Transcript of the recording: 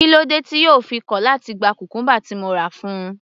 Kílódé tí yóò fi kọ̀ láti gba cucumber tí mo rà fún un.